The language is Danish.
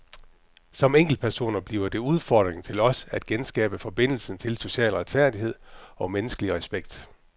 Som enkeltpersoner bliver det udfordringen til os at genskabe forbindelsen til social retfærdighed og menneskelig respekt.